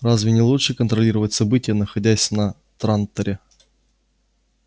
разве не лучше контролировать события находясь на транторе